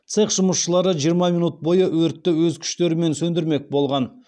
цех жұмысшылары жиырма минут бойы өртті өз күштерімен сөндірмек болған